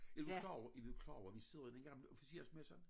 Er du klar over er du klar over vi sidder i den gamle officersmesse